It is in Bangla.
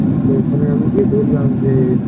তো ওখানে আমি গিয়ে বোললাম যে